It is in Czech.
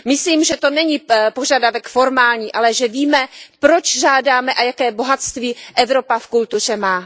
Myslím, že to není požadavek formální, ale že víme, proč žádáme a jaké bohatství Evropa v kultuře má.